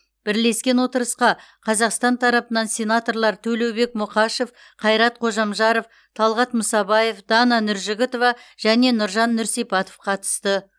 бірлескен отырысқа қазақстан тарапынан сенаторлар төлеубек мұқашев қайрат қожамжаров талғат мұсабаев дана нұржігітова және нұржан нұрсипатов қатысты